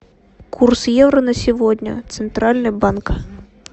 курс евро на сегодня центральный банк